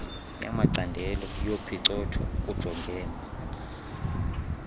yamacandelo yophicotho kujongwene